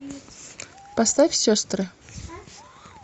поставь сестры